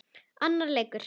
Annar leikur